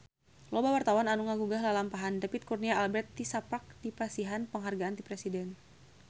Loba wartawan anu ngaguar lalampahan David Kurnia Albert tisaprak dipasihan panghargaan ti Presiden